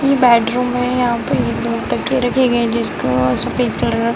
इ बैडरूम है यहाँ पे एक-दो तकिये रखे गए हैं जिसका सफ़ेद कलर --